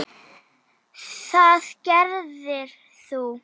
Það gerðir þú.